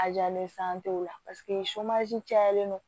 A jalen o la paseke cayalen don